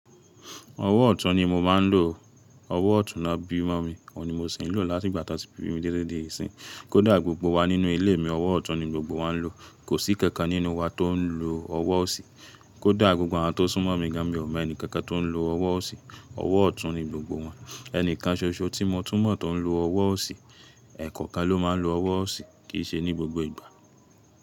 Ọwọ́ ọ̀tún ni mo máa ń lò. Ọwọ́ ọ̀tún náà bí mọ́ mi, òun ni mo sì ń lò láti ìgbà tó ti bi mi titi dé sin. Kódà gbogbo wa nínú ilé mi, ọwọ́ ọ̀tún ni gbogbo wa ń lò. Kò sí kankan nínú wa tó ń lo ọwọ́ òsì. Kódà gbogbo àwọn tó súnmọ́ mi gán, mì o mo ẹ́ni kankan tó ń lo ọwọ́ òsì, ọwọ́ ọ̀tún ni gbogbo wọn. Ẹnìkan ṣoṣo tí mo tún mọ̀ tó ń lo ọwọ́ òsì. Ẹ̀ẹ̀kọ̀kan ló máa ń lo ọwọ́ òsì, kì í ṣe ní gbogbo ìgbà.